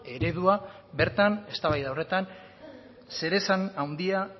eredua bertan eztabaida horretan zeresan handia